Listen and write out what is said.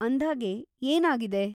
ಅಂದ್ಹಾಗೆ, ಏನ್‌ ಆಗಿದೆ?